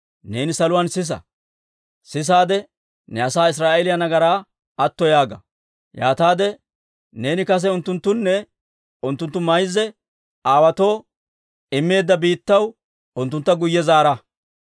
neeni saluwaan sisa. Sisaade ne asaa Israa'eeliyaa nagaraa atto yaaga; yaataade neeni kase unttunttuwunne unttunttu mayza aawaatoo immeedda biittaw unttunttu guyye zaara.